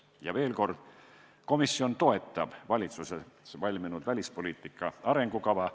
Ja veel kord, komisjon toetab valitsuses valminud välispoliitika arengukava.